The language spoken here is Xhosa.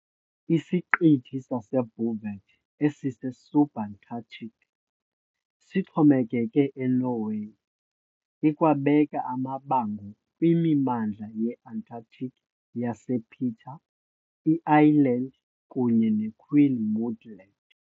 Isiqithi saseBouvet, esise- Subantarctic, sixhomekeke eNorway, ikwabeka amabango kwimimandla ye-Antarctic yasePeter I Island kunye ne-Queen Maud Land.